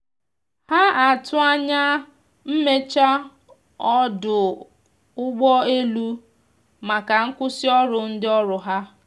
ha atụ anya mmeche ọdụ ụgbọ elụ maka nkwụsi ọrụ ndi ọrụ ha